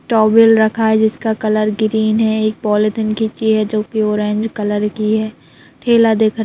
towel रखा है जिसका कलर ग्रीन है एक पॉलिथीन खींचे है जो कि ऑरेंज कलर कि है थैला दिखा--